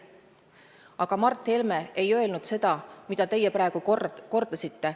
Aga Mart Helme ei öelnud seda, mida teie praegu väitsite.